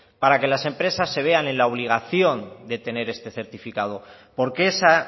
para que las empresas se vean en la obligación de tener este certificado porque esa